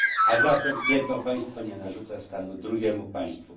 A zatem jedno państwo nie narzuca stanu drugiemu państwu.